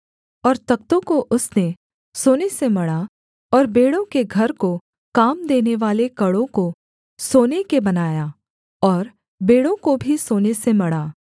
और तख्तों को उसने सोने से मढ़ा और बेंड़ों के घर को काम देनेवाले कड़ों को सोने के बनाया और बेंड़ों को भी सोने से मढ़ा